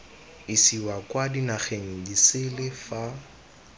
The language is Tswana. isiwa kwa dinageng disele fa